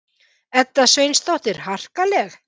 Edda Sveinsdóttir: Harkaleg?